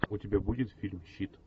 у тебя будет фильм щит